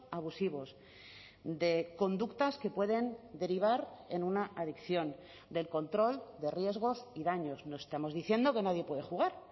abusivos de conductas que pueden derivar en una adicción del control de riesgos y daños no estamos diciendo que nadie puede jugar